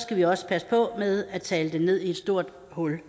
skal vi også passe på med at tale det ned i et stort hul